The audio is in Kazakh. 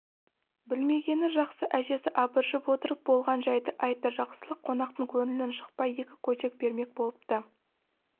білмегені жақсы әжесі абыржып отырып болған жәйді айтты жақсылық қонақтың көңілін жықпай екі көжек бермек болыпты